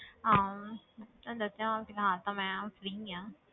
ਹਾਂ ਤੈਨੂੰ ਦੱਸਿਆ ਹੁਣ ਫਿਲਹਾਲ ਤਾਂ ਮੈਂ free ਹਾਂ।